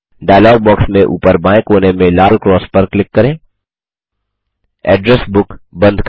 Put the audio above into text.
dialogue box में ऊपर बाएँ कोने में लाल क्रॉस पर क्लिक करके एड्रेस बुक बंद करें